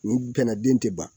Nin fɛnna den tɛ ban.